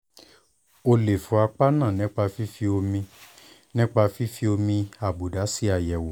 o lè fọ́ apá náà nípa fífi omi nípa fífi omi àbùdá ṣe àyẹ̀wò